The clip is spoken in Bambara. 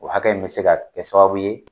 O hakɛ in bɛ se ka kɛ sababu ye